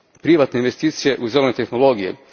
privatne investicije u zelene tehnologije.